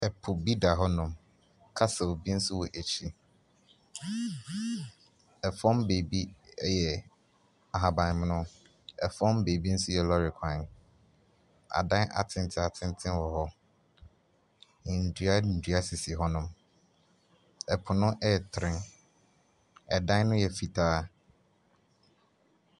Ɛpo bi da hɔ no castle bi so wɔ akyire ɛfom bɛbi ɛyɛ ahaban mono ɛfom bɛbi nso yɛ lɔre kwan adan atenten wɔ hɔ ndua dua sisi hɔ nom ɛpo no ɛtere ɛdan no yɛ fitaa.